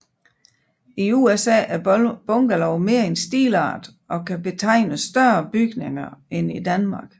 I USA er bungalow mere en stilart og kan betegne større bygninger end i Danmark